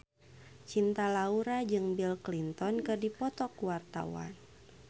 Cinta Laura jeung Bill Clinton keur dipoto ku wartawan